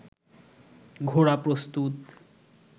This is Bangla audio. ঘোড়া প্রস্তুত